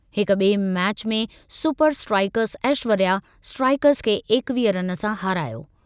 हिक बि॒ए मैच में सुपर स्ट्राइकर्स ऐश्वर्या स्ट्राइकर्स खे एकवीह रन सां हारायो।